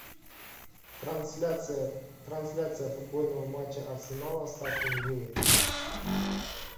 трансляция футбольного матча арсенала с астон виллой